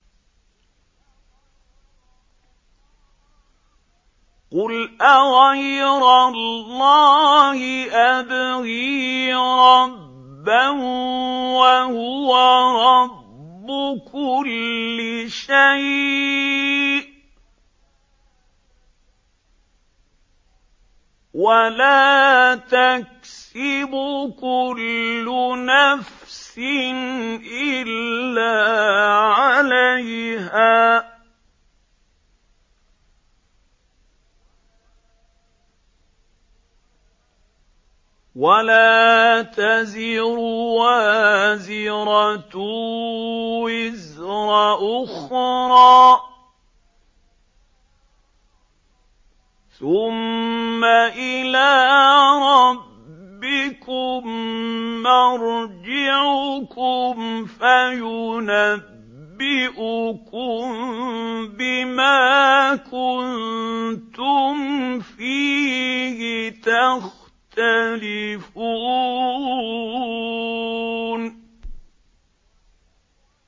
قُلْ أَغَيْرَ اللَّهِ أَبْغِي رَبًّا وَهُوَ رَبُّ كُلِّ شَيْءٍ ۚ وَلَا تَكْسِبُ كُلُّ نَفْسٍ إِلَّا عَلَيْهَا ۚ وَلَا تَزِرُ وَازِرَةٌ وِزْرَ أُخْرَىٰ ۚ ثُمَّ إِلَىٰ رَبِّكُم مَّرْجِعُكُمْ فَيُنَبِّئُكُم بِمَا كُنتُمْ فِيهِ تَخْتَلِفُونَ